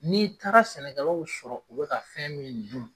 N'i taara sɛnɛkɛ law sɔrɔ u bɛ ka fɛn min dun